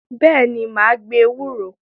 Bẹ́ẹ̀ni, mà á gbin ewúro.